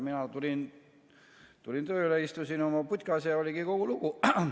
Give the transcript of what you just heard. Mina tulin tööle, istusin oma putkas ja oligi kogu lugu.